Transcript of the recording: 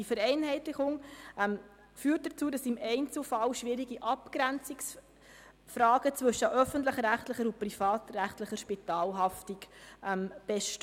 Diese Vereinheitlichung führt dazu, dass im Einzelfall schwierige Abgrenzungsfragen zwischen öffentlich-rechtlichen und privatrechtlichen Spitalhaftungen bestehen.